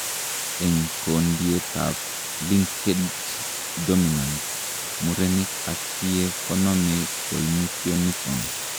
En Kondietab linked dominant , muren ak tie konome koimutioniton.